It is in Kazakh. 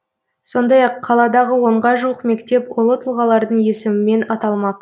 сондай ақ қаладағы онға жуық мектеп ұлы тұлғалардың есімімен аталмақ